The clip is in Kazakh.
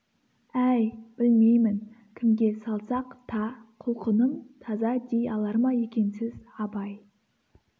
әй білмеймін кімге салсақ та құлқыным таза дей алар ма екенсіз абай